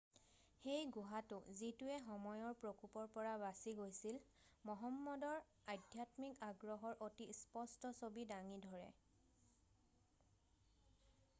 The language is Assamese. "সেই গুহাটো, যিটোৱে সময়ৰ প্ৰকোপৰ পৰা বাছি গৈছিল মহম্মদৰ আধ্যাত্মিক আগ্ৰহৰ অতি স্পষ্ট ছবি দাঙি ধৰে।""